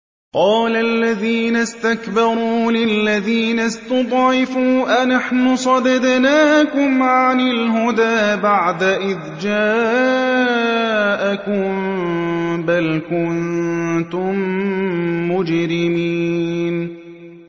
قَالَ الَّذِينَ اسْتَكْبَرُوا لِلَّذِينَ اسْتُضْعِفُوا أَنَحْنُ صَدَدْنَاكُمْ عَنِ الْهُدَىٰ بَعْدَ إِذْ جَاءَكُم ۖ بَلْ كُنتُم مُّجْرِمِينَ